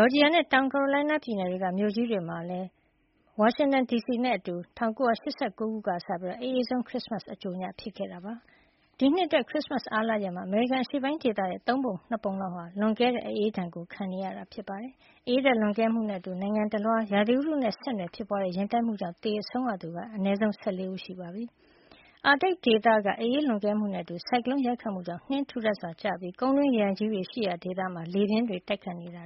ော်ဂျီယာနဲ့ တောင်ကာရိုလိုင်းနား ပြည်နယ်တွေက မြို့ကြီးတွေနဲ့ အတူ ဝါရှင်တန်ဒီစီမှာလည်း ၁၉၈၉ ခုနှစ်ကစပြီး အအေးဆုံး ခရစ်စမတ်အကြိုညဖြစ်ခဲ့တာပါ။ ဒီနှစ်အတွက် ခရစ်စမတ်အားလပ်ရက်ကို အမေရိကန်အရှေ့ပိုင်း ဒေသရဲ့ သုံးပုံ ၂ ပုံလောက်ဟာ လွန်ကဲတဲ့ အအေးဒဏ်ကို ခံနေကြရတာပါ။ အအေးဓါတ်လွန်ကဲမှုနဲ့ အတူ နိုင်ငံတလွှား ရာသီဥတုနဲ့ဆက်နွယ်ဖြစ်ပွါးတဲ့ ယဉ်တိုက်မှုကြောင့် သေဆုံးရသူက အနည်းဆုံး ၁၄ ဦး ရှိပြီလို့ ပြည်တွင်း သတင်းတွေမှာ ဖေါ်ပြနေပါတယ်။ အာတိတ်ဒေသ အအေးလွန်ကဲမှုနဲ့ အတူ ဆိုင်ကလုံးရိုက်ခတ်မှုကြောင့် နှင်းတွေ ထူထပ်စွာ ကျရောက်ပြီး ကုန်းတွင်းရေအိုင်ကြီးတွေ ရှိရာဒေသမှာ လေပြင်းတွေ တိုက်ခတ်နေတာ